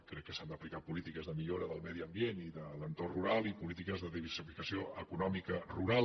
crec que s’han d’aplicar polítiques de millora del medi ambient i de l’entorn rural i polítiques de diversificació econòmica rural